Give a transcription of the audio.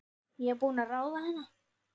Ég er búin að ráða hana!